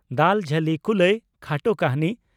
"ᱫᱟᱞ ᱡᱷᱟᱹᱞᱤ ᱠᱩᱞᱟᱹᱭ" (ᱠᱷᱟᱴᱚ ᱠᱟᱹᱦᱱᱤ)